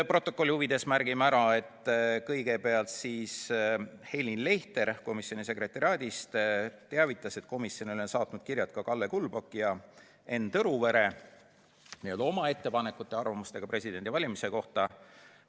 Protokolli huvides märgin ära, et kõigepealt teavitas Helin Leichter komisjoni sekretariaadist, et komisjonile on saatnud kirja ka Kalle Kulbok ja Enn Tõruvere oma ettepanekute ja arvamustega presidendivalimiste kohta.